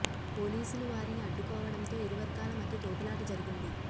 పోలీసులు వారిని అడ్డుకోవడంతో ఇరు వర్గాల మధ్య తోపులాట జరిగింది